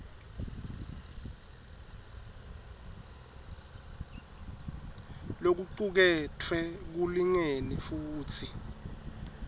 lokucuketfwe kulingene futsi